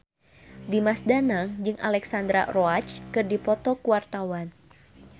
Dimas Danang jeung Alexandra Roach keur dipoto ku wartawan